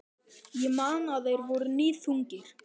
Ég man að þeir voru níðþungir.